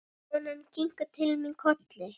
Konan kinkar til mín kolli.